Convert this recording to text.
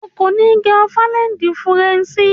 O kò ní gẹ ofaléédí furẹ̀ǹṣì.